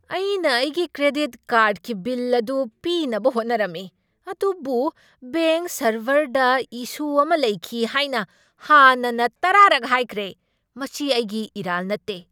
ꯑꯩꯅ ꯑꯩꯒꯤ ꯀ꯭ꯔꯦꯗꯤꯠ ꯀꯥꯔꯗꯀꯤ ꯕꯤꯜ ꯑꯗꯨ ꯄꯤꯅꯕ ꯍꯣꯠꯅꯔꯝꯃꯤ ꯑꯗꯨꯕꯨ ꯕꯦꯡꯛ ꯁꯔꯚꯔꯗ ꯏꯁꯨ ꯑꯃ ꯂꯩꯈꯤ ꯍꯥꯏꯅ ꯍꯥꯟꯅꯅ ꯇꯔꯥꯔꯛ ꯍꯥꯏꯈ꯭ꯔꯦ꯫ ꯃꯁꯤ ꯑꯩꯒꯤ ꯏꯔꯥꯜ ꯅꯠꯇꯦ!